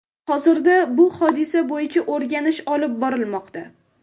Hozirda bu hodisa bo‘yicha o‘rganish olib borilmoqda.